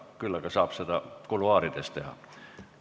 Küll aga saab seda kuluaarides teha.